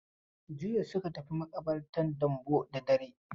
Jiya suka tafi maƙabartan Dambo da dare.